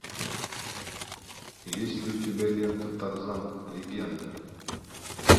есть ли у тебя лента тарзан легенда